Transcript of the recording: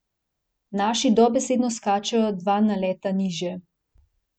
Naši dobesedno skačejo dva naleta nižje.